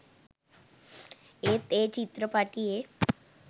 ඒත් ඒ චිත්‍රපටියේ